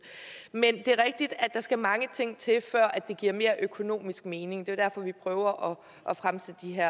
men det er rigtigt at der skal mange ting til før det giver mere økonomisk mening det er jo vi prøver at fremsætte de her